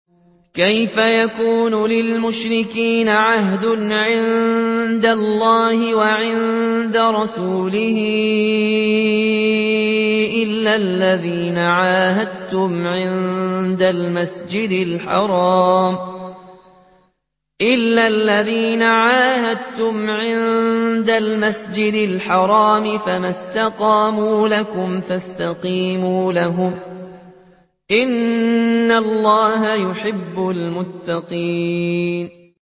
كَيْفَ يَكُونُ لِلْمُشْرِكِينَ عَهْدٌ عِندَ اللَّهِ وَعِندَ رَسُولِهِ إِلَّا الَّذِينَ عَاهَدتُّمْ عِندَ الْمَسْجِدِ الْحَرَامِ ۖ فَمَا اسْتَقَامُوا لَكُمْ فَاسْتَقِيمُوا لَهُمْ ۚ إِنَّ اللَّهَ يُحِبُّ الْمُتَّقِينَ